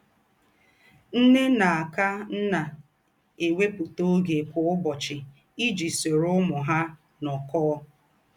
Nnè na - ákà nnà èwèpụ́tà ògé kwa ǔbọ̀chị iji sòrò ǔmū hà nọ̀kọọ̀.